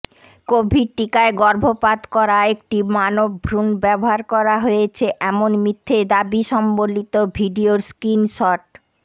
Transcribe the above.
Covid টিকায় গর্ভপাত করা একটি মানবভ্রুণ ব্যবহার করা হয়েছে এমন মিথ্যে দাবি সম্বলিত ভিডিওর স্ক্রীনশট